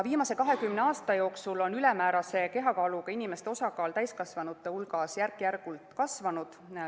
Viimase 20 aasta jooksul on ülemäärase kehakaaluga inimeste osakaal täiskasvanute hulgas järk-järgult kasvanud.